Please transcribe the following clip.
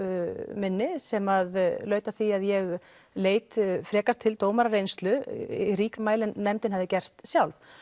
minni sem laut að því að ég leit frekar til dómarareynslu í ríkara mæli en nefndin hafði gert sjálf